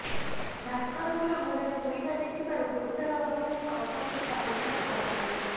ଭାସ୍କରଙ୍କର ଗୋଡ଼ରେ ଗୁଳି ବାଜିଥିବାରୁ ଗୁରୁତର ଅବସ୍ଥାରେ କଟକକୁ ସ୍ଥାନାନ୍ତର କରାଯାଇଛି